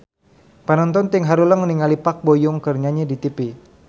Panonton ting haruleng ningali Park Bo Yung keur nyanyi di tipi